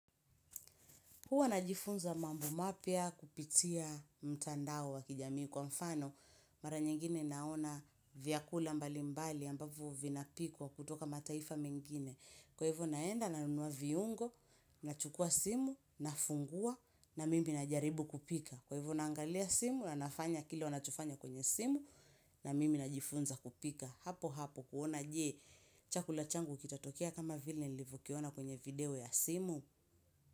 Huwa najifunza mambo mapya kupitia mtandao wa kijamii kwa mfano. Mara nyingine naona vyakula mbali mbali ambavyo vinapikwa kutoka mataifa mengine. Kwa hivyo naenda nanunua viungo nachukua simu na fungua na mimi na jaribu kupika. Kwa hivyo naangalia simu na nafanya kile wanachofanya kwenye simu na mimi na jifunza kupika. Hapo hapo kuona je chakula changu kitatokea kama vile nilivyo kiona kwenye video ya simu.